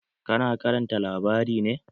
Ka na karanta labari ne?